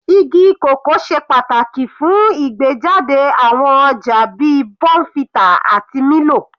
Igi cocoa ṣe pàtàkì fún ìgbéjáde àwọn ọjà bíi bournvita àti milo.